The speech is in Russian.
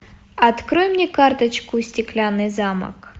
открой мне карточку стеклянный замок